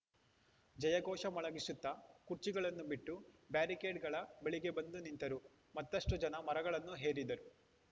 ಜಯಘೋಷ ಮೊಳಗಿಸುತ್ತಾ ಕುರ್ಚಿಗಳನ್ನು ಬಿಟ್ಟು ಬ್ಯಾರಿಕೇಡ್‌ಗಳ ಬಳಿಗೆ ಬಂದು ನಿಂತರು ಮತ್ತಷ್ಟುಜನ ಮರಗಳನ್ನು ಏರಿದರು